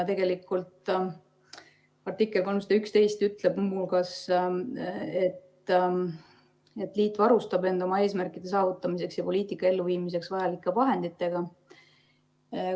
Tegelikult ütleb artikkel 311 muu hulgas, et liit varustab end oma eesmärkide saavutamiseks ja poliitika elluviimiseks vajalike vahenditega.